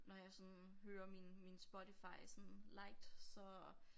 Når jeg sådan hører min min Spotify sådan liked så